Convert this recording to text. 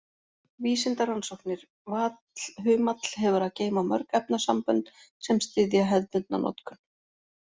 Vísindarannsóknir Vallhumall hefur að geyma mörg efnasambönd sem styðja hefðbundna notkun.